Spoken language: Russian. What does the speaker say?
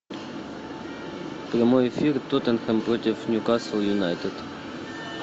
прямой эфир тоттенхэм против ньюкасл юнайтед